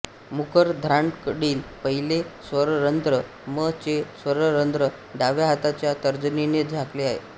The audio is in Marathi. मुखरंध्राकडील पहिले स्वररंध्र म चे स्वररंध्र डाव्या हाताच्या तर्जनीने झाकले जाते